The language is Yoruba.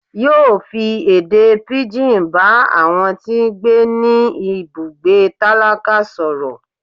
yóò fí èdè pigín bá àwọn tí gbé ní ibùgbé tálákà soró